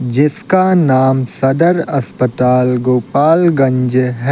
जिसका नाम सदर अस्पताल गोपालगंज --